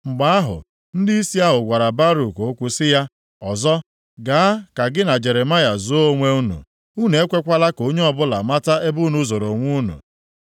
Mgbe ahụ, ndịisi ahụ gwara Baruk okwu sị ya, “Ọsọ, gaa ka gị na Jeremaya zoo onwe unu. Unu ekwekwala ka onye ọbụla mata ebe unu zoro onwe unu.”